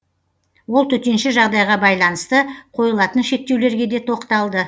ол төтенше жағдайға байланысты қойылатын шектеулерге де тоқталды